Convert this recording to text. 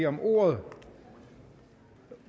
om ordet